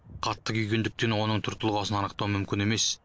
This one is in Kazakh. қатты күйгендіктен оның түр тұлғасын анықтау мүмкін емес